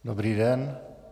Dobrý den.